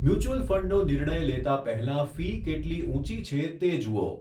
Mutual ફંડનો નિર્ણય લેતા પહેલાં ફી કેટલી ઊંચી છે તે જુઓ.